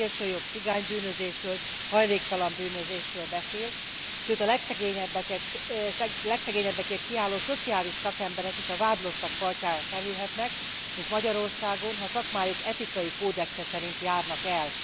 A szélsőjobb cigánybűnözésről, hajléktalanbűnözésről beszél, sőt a legszegényebbekért kiálló szociális szakemberek is a vádlottak padjára kerülhetnek, mint Magyarországon, ha szakmájuk etikai kódexe szerint járnak el.